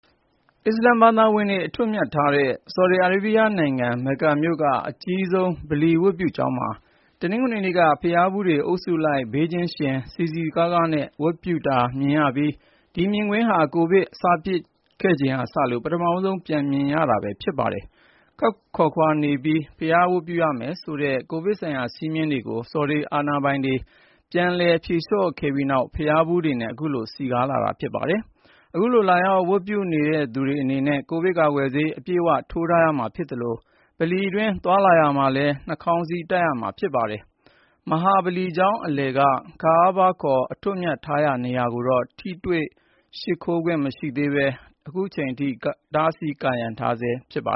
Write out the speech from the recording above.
အစ္စလာမ်ဘာသာဝင်တွေ အထွတ်အမြတ်ထားတဲ့ ဆော်ဒီအာရေးဗျနိုင်ငံ မက္ကာမြို့က အကြီးဆုံး ဗလီဝတ်ပြုကျောင်းမှာ တနင်္ဂနွေနေ့က ဘုရားဖူးတွေ အုပ်စုလိုက် ဘေးချင်းယှဉ် စည်စည်ကားကားနဲ့ ဝတ်ပြုတာမြင်ရပြီး ဒီမြင်ကွင်းဟာ ကိုဗစ် စဖြစ်ခဲ့ချိန်ကစလို့ ပထမဦးဆုံး ပြန်မြင်ရတာ ဖြစ်ပါတယ်။ ခပ်ခွာခွာနေပြီး ဘုရားဝတ်ပြုရမယ်ဆိုတဲ့ ကိုဗစ်ဆိုင်ရာ စည်းမျည်းတွေကိုလည်း ဆော်ဒီအာဏာပိုင်တွေက ပြန်လည် ဖြေလျှော့ခဲ့ပြီးနောက် ဘုရားဖူးတွေနဲ့ ခုလို စည်ကားနေတာပါ။ အခုလို လာရောက် ဝတ်ပြုသူတွေအနေနဲ့ ကိုဗစ်ကာကွယ်ဆေး အပြည့်အဝ ထိုးထားရမှာ ဖြစ်သလို ဗလီအတွင်း သွားလာရာမှာလည်း နှာခေါင်းစည်း တပ်ထားရမှာ ဖြစ်ပါတယ်။ မဟာဗလီကျောင်း အလယ်က "Kaaba" ခေါ် အထွတ်အမြတ်ထားရာ နေရာကိုတော့ ထိတွေ့ရှိခိုးခွင့် မရသေးဘဲ အတားအဆီးတွေနဲ့ ကာရံထားဆဲ ဖြစ်ပါ